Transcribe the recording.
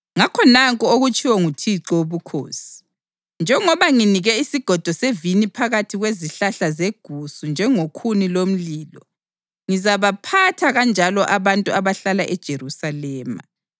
Ngakho nanku okutshiwo nguThixo Wobukhosi: Njengoba nginike isigodo sevini phakathi kwezihlahla zegusu njengokhuni lomlilo, ngizabaphatha kanjalo abantu abahlala eJerusalema.